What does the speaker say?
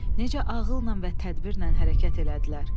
Necə ağılla və tədbirlə hərəkət elədilər?